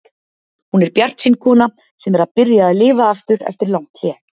Hún er bjartsýn kona sem er að byrja að lifa aftur eftir langt hlé.